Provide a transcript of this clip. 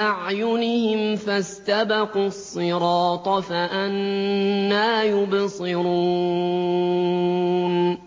أَعْيُنِهِمْ فَاسْتَبَقُوا الصِّرَاطَ فَأَنَّىٰ يُبْصِرُونَ